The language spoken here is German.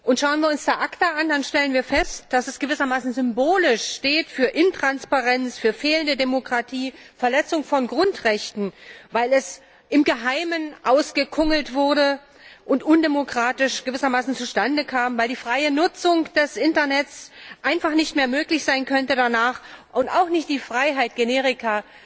Und schauen wir uns da ACTA an, dann stellen wir fest, dass es gewissermaßen symbolisch für Intransparenz, für fehlende Demokratie, für die Verletzung von Grundrechten steht, weil es im Geheimen ausgekungelt wurde und undemokratisch zustande kam, weil die freie Nutzung des Internets einfach nicht mehr möglich sein könnte, und auch nicht die Freiheit, Generika